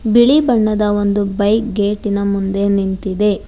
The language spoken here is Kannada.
ಬಿಳಿ ಬಣ್ಣದ ಒಂದು ಬೈಕ್ ಗೇಟಿನ ಮುಂದೆ ನಿಂತಿದೆ.